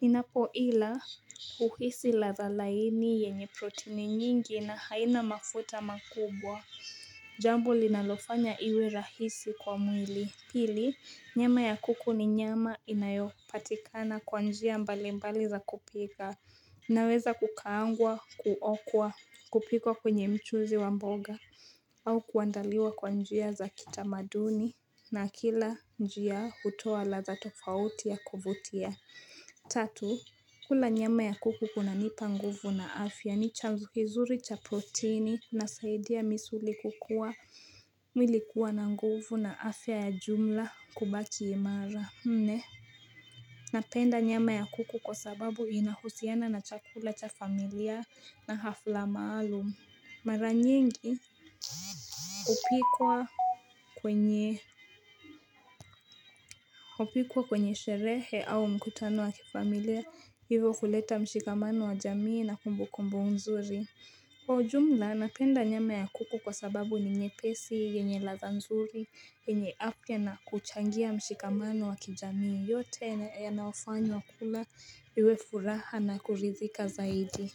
Ninapo ila huhisi latha laini yenye proteni nyingi na haina mafuta makubwa Jambo linalofanya iwe rahisi kwa mwili. Pili, nyama ya kuku ni nyama inayopatikana kwa njia mbali mbali za kupika. Inaweza kukaangwa, kuokwa, kupikwa kwenye mchuzi wa mboga. Au kuandaliwa kwa njia za kitamaduni na kila njia hutoa la za tofauti ya kuvutia. Tatu, kula nyama ya kuku kuna nipa nguvu na afya ni chanzo kizuri cha proteini ina saidia misuli kukua mwili kuwa na nguvu na afya ya jumla kubaki imara, nne. Napenda nyama ya kuku kwa sababu inahusiana na chakula cha familia na hafla maalum. Maranyengi, upikwa kwenye Upikwa kwenye sherehe au mkutano wa kifamilia hivo kuleta mshikamano wa jamii na kumbukumbu nzuri kwa ujumla napenda nyama ya kuku kwa sababu ni nyepesi yenye latha nzuri yenye afya na kuchangia mshikamano wa kijamii yote yana fanywa kula iwe furaha na kuridhika zaidi.